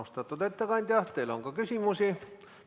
Austatud ettekandja, teile on ka küsimusi.